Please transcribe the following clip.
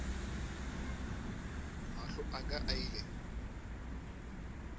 mahlo a ka a ile